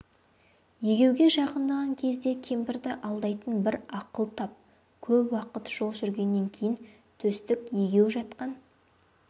егеуге жақындаған кезде кемпірді алдайтын бір ақыл тап көп уақыт жол жүргеннен кейін төстік егеу жатқан